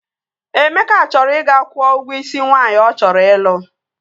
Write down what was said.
Emeka chọrọ ị ga-kwụọ ụgwọ isi nwaanyị ọ chọrọ ịlụ